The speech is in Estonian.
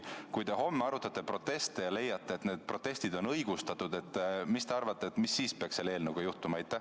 Kui te homme arutate proteste ja leiate, et need protestid on õigustatud, siis mis te arvate, mis peaks selle eelnõuga juhtuma?